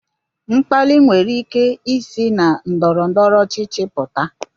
Mkpali nwere ike isi na ndọrọ ndọrọ ọchịchị pụta